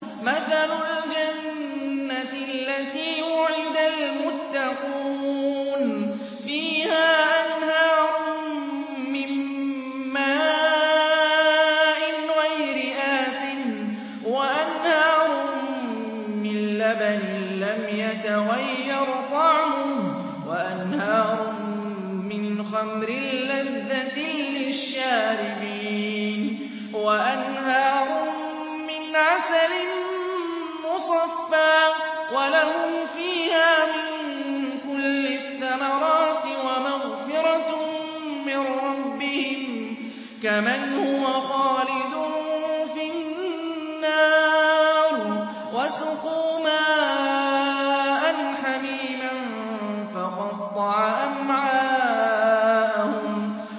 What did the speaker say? مَّثَلُ الْجَنَّةِ الَّتِي وُعِدَ الْمُتَّقُونَ ۖ فِيهَا أَنْهَارٌ مِّن مَّاءٍ غَيْرِ آسِنٍ وَأَنْهَارٌ مِّن لَّبَنٍ لَّمْ يَتَغَيَّرْ طَعْمُهُ وَأَنْهَارٌ مِّنْ خَمْرٍ لَّذَّةٍ لِّلشَّارِبِينَ وَأَنْهَارٌ مِّنْ عَسَلٍ مُّصَفًّى ۖ وَلَهُمْ فِيهَا مِن كُلِّ الثَّمَرَاتِ وَمَغْفِرَةٌ مِّن رَّبِّهِمْ ۖ كَمَنْ هُوَ خَالِدٌ فِي النَّارِ وَسُقُوا مَاءً حَمِيمًا فَقَطَّعَ أَمْعَاءَهُمْ